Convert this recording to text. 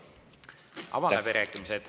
Avan läbirääkimised.